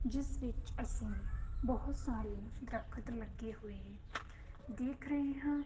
ਜਿਸ ਵਿੱਚ ਅਸੀਂ ਬਹੁਤ ਸਾਰੇ ਦਰਖਤ ਲੱਗੇ ਹੋਏ ਦੇਖ ਰਹੇ ਹਾਂ।